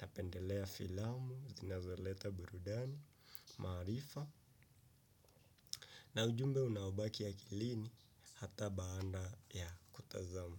napendelea filamu zinazoleta burudani, maarifa na ujumbe unaobaki akilini hata baada ya kutazama.